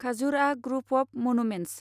Khajuraho group of monuments